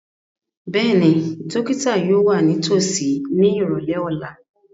Bẹ́ẹ̀ni, dókítà yóò wà nítòsí ní ìrọ̀lẹ́ ọ̀la